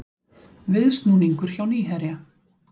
Viðsnúningur hjá Nýherja